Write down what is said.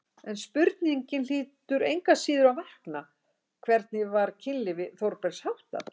En spurningin hlýtur engu að síður að vakna: hvernig var kynlífi Þórbergs háttað?